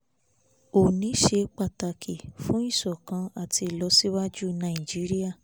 oòní ṣe pàtàkì fún ìṣọ̀kan àti ìlọsíwájú nàìjíríà